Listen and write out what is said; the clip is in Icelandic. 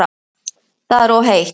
Það er of heitt